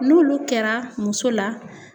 N'olu kɛra muso la